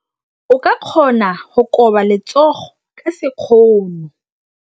O ka kgona go koba letsogo ka sekgono.